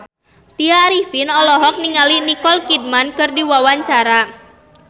Tya Arifin olohok ningali Nicole Kidman keur diwawancara